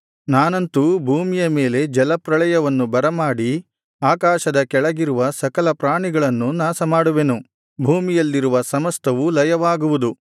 ನಾನಂತೂ ಭೂಮಿಯ ಮೇಲೆ ಜಲಪ್ರಳಯವನ್ನು ಬರಮಾಡಿ ಆಕಾಶದ ಕೆಳಗಿರುವ ಸಕಲಪ್ರಾಣಿಗಳನ್ನೂ ನಾಶಮಾಡುವೆನು ಭೂಮಿಯಲ್ಲಿರುವ ಸಮಸ್ತವೂ ಲಯವಾಗುವುದು